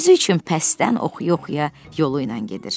Özü üçün pəstdən oxuya-oxuya yolu ilə gedir.